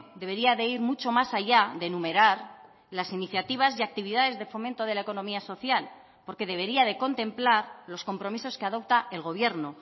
debería de ir mucho más allá de enumerar las iniciativas y actividades de fomento de la economía social porque debería de contemplar los compromisos que adopta el gobierno